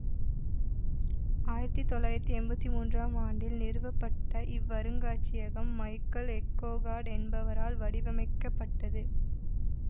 ஆயிரத்தி தொள்ளாயிரத்தி எம்பத்தி மூன்றாம் ஆண்டில் நிறுவப்பட்ட இவ்வருங்காட்சியகம் மைக்கேல் எக்கோகார்டு என்பவரால் வடிவமைக்கப்பட்டது